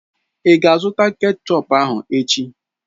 Ị ga-azụta kechọp ahụ echi?